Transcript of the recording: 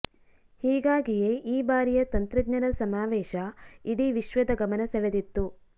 ಹೀಗಾಗಿಯೇ ಈ ಬಾರಿಯ ತಂತ್ರಜ್ಞರ ಸಮಾವೇಶ ಇಡೀ ವಿಶ್ವದ ಗಮನ ಸೆಳೆದಿತ್ತು